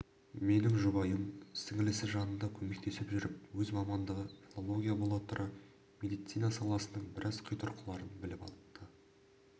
менің жұбайым сіңілісінің жанында көмектесіп жүріп өз мамандығы филология бола тұра медицина саласының біраз қитұрқыларын біліп алыпты